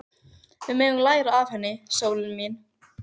Við megum læra það af henni, sólin mín.